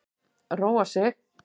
Róa sig.